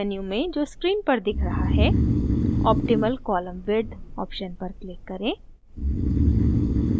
menu में जो screen पर दिख रहा है optimal column width option पर click करें